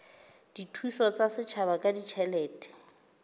dithuso tsa setjhaba ka ditjhelete